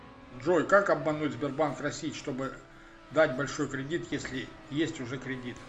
джой как обмануть сбербанк россии чтобы дать большой кредит если есть уже кредит